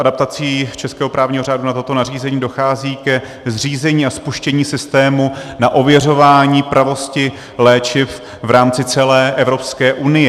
Adaptací českého právního řádu na toto nařízení dochází ke zřízení a spuštění systému na ověřování pravosti léčiv v rámci celé Evropské unie.